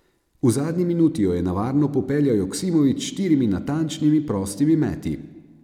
V zadnji minuti jo je na varno popeljal Joksimović s štirimi natančnimi prostimi meti.